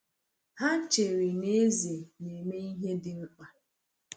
Ha chere na eze na-eme ihe dị mkpa.